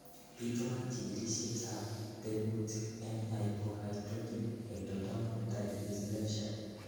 Bitunat chikilisietab tekutik en hypohidrotic ectodermal dysplasia.